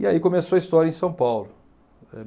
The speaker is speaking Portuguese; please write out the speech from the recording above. E aí começou a história em São Paulo.